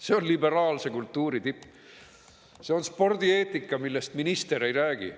See on liberaalse kultuuri tipp, see on spordieetika, millest minister ei räägi.